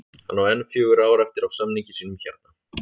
Hann á enn fjögur ár eftir af samningi sínum hérna